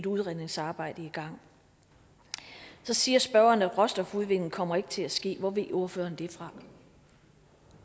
udredningsarbejdet i gang så siger spørgeren at råstofudvinding ikke kommer til at ske hvor ved ordføreren det fra